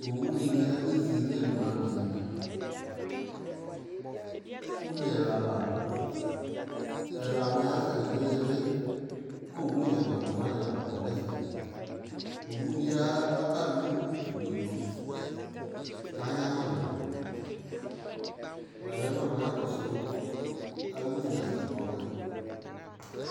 owu dini yabezi no imla no ina, une ɛla lado ɛlaneɛ asɛ no ili ko owu nyamado wane la kɔ no ɛfɛ owu di aba lo utu di do ko anyamado walɛ nɔna kɔso awo une asɛ kɔboɛ